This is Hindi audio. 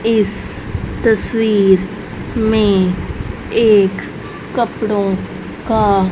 इस तस्वीर में एक कपड़ों का --